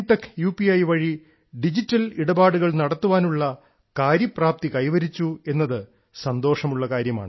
I വഴി digital ഇടപാടുകൾ നടത്താനുള്ള കാര്യപ്രാപ്തി കൈവരിച്ചു എന്നത് സന്തോഷമുള്ള കാര്യമാണ്